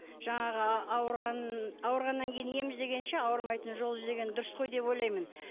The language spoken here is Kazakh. жаңағы ауырған ауырғаннан кейін ем іздегенше ауырмайтын жол іздеген дұрыс қой деп ойлаймын